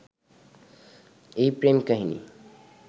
এই প্রেম-কাহিনী